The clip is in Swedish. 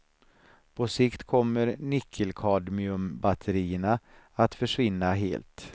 På sikt kommer nickelkadmiumbatterierna att försvinna helt.